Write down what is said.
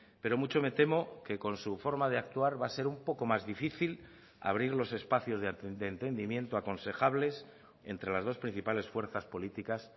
pero mucho me temo que con su forma de actuar va a ser un poco más difícil abrir los espacios de entendimiento aconsejables entre las dos principales fuerzas políticas